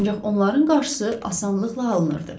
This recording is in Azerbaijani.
Ancaq onların qarşısı asanlıqla alınırdı.